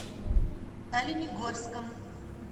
оленегорском